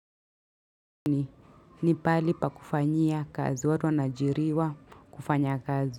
Ni pahali pa kufanyia kazi watu wanaajiriwa kufanya kazi.